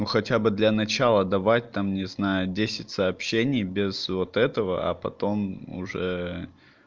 ну хотя бы для начала давать там не знаю десять сообщений без вот этого а потом уже